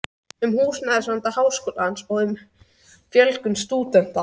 um húsnæðisvanda Háskólans og um fjölgun stúdenta